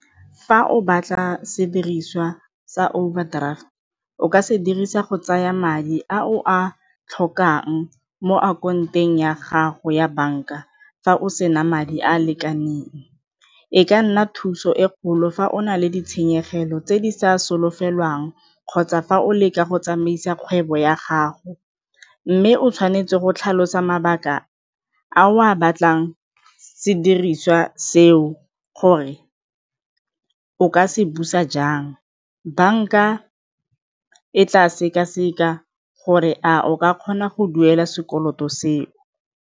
Fa o batla sediriswa sa overdraft, o ka se dirisa go tsaya madi a o a tlhokang mo ya gago ya banka fa o sena madi a a lekaneng, e ka nna thuso e kgolo fa o na le ditshenyegelo tse di sa solofelwang kgotsa fa o leka go tsamaisa kgwebo ya gago mme o tshwanetse go tlhalosa mabaka a o a batlang sediriswa seo gore o ka se busa jang, banka e tla sekaseka gore a o ka kgona go duela sekoloto seo.